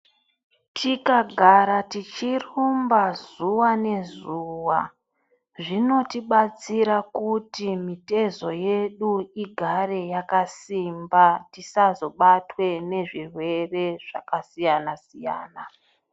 Tikagara tichirumba zuwa ngezuwa zvinodetsere kuti mitezo yedu igare yakasimba tisazobatwe ngezvirwere zvakasiyana siyana.